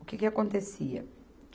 O que que acontecia?